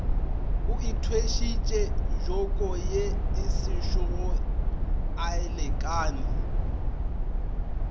o ithwešitše jokoye asešogo alekana